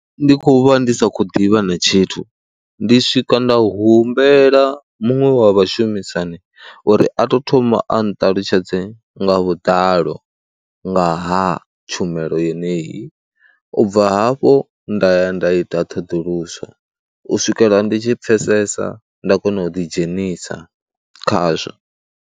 Ndi khou vha ndi sa khou ḓivha na tshithu, ndi swika nda humbela muṅwe wa vhashumisani uri a tou thoma a nṱalutshedze nga vhuḓalo nga ha tshumelo yeneyi, u bva hafho, nda ya nda ita ṱhoḓuluso u swikela ndi tshi pfhesesa nda kona u ḓidzhenisa khazwo.